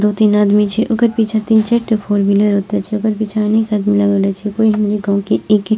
दो तीन आदमी छे ओकर पीछा तीन चार ठो फोर-व्हीलर ओते छे ओकर पीछे अनेक आदमी लागल आछे कोई हमरे गाँव के एक एक --